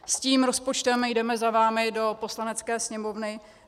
S tím rozpočtem jdeme za vámi do Poslanecké sněmovny.